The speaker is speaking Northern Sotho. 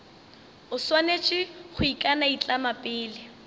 o swanetše go ikanaitlama pele